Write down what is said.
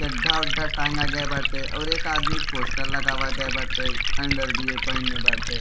चड्ढा उड्डा टांगा गये बाटे और एक आदमी पोस्टर लगावा गये बाटे। अंडरवियर पहिनले बाटे।